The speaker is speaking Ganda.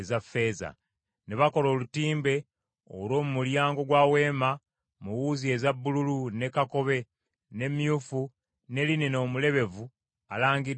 Ne bakola olutimbe olw’omu mulyango gwa Weema mu wuzi eza bbululu, ne kakobe, ne myufu ne linena omulebevu alangiddwa obulungi.